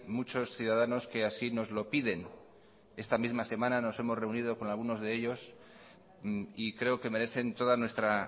muchos ciudadanos que así nos lo piden esta misma semana nos hemos reunido con algunos de ellos y creo que merecen toda nuestra